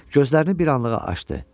Gözlərini bir anlığa açdı.